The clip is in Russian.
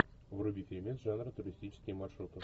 вруби фильмец жанра туристические маршруты